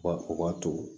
U b'a to